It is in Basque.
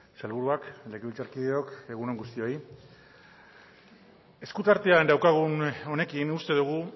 sailburuak legebiltzarkideok egun on guztioi esku artean daukagun honekin uste dugu